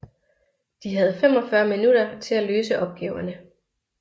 De havde 45 minutter til at løse opgaverne